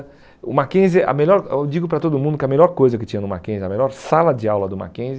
O Mackenzie, a melhor eu digo para todo mundo que a melhor coisa que tinha no Mackenzie, a melhor sala de aula do Mackenzie,